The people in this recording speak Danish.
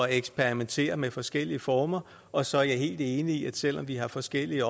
at eksperimentere med forskellige former og så er jeg helt enig i at selv om vi har forskellige